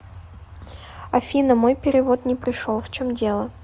афина мой перевод не пришел в чем дело